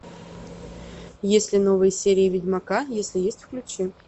есть ли новые серии ведьмака если есть включи